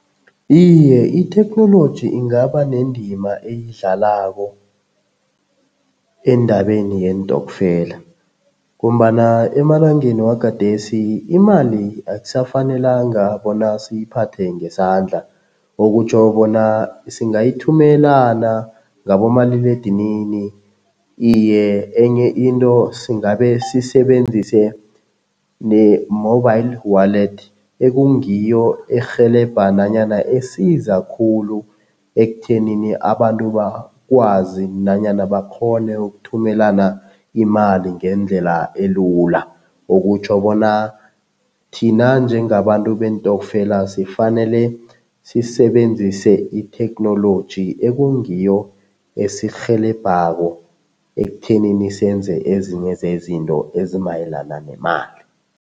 Iye, itheknoloji ingaba nendima eyidlalako endabeni yeentokfela ngombana emalangeni wagadesi imali akusafanelanga bona siyiphathe ngesandla, okutjho bona singayithumelana ngabomaliledinini. Iye, enye into singabe sisebenzise ne-mobile wallet ekungiyo erhelebha nanyana esiza khulu ekuthenini abantu bakwazi nanyana bakghone ukuthumelana imali ngendlela elula. Okutjho bona thina njengabantu beentokfela sifanele sisebenzise itheknoloji ekungiyo esirhelebhako ekuthenini senze ezinye zezinto ezimayelana nemali.